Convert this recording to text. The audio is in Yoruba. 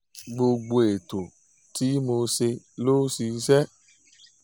gbogbo ètò tí mo ṣe ló ṣiṣẹ́